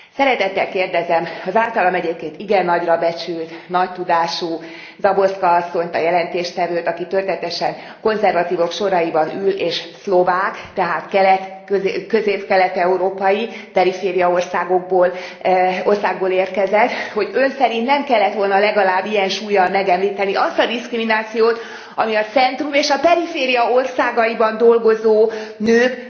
Szeretettel kérdezem, az általam egyébként igen nagyra becsült, nagy tudású Záborská asszonyt, a jelentéstevőt aki történetesen a konzervatívok soraiban ül és szlovák, tehát közép kelet európai, periféria országból érkezett hogy Ön szerint nem kellett volna legalább ilyen súllyal megemlíteni azt a diszkriminációt, ami a centrum és a periféria országaiban dolgozó nők